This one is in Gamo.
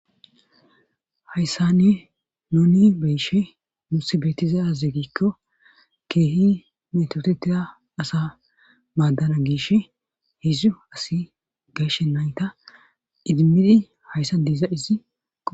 hayssanne nuni beyshe nusi beettiza azegikko keehi metotetia asa maaddana giish hizu asi geeshe nayta idimmidi hayssan de'izayssi qonce